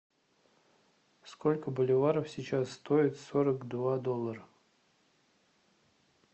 сколько боливаров сейчас стоит сорок два доллара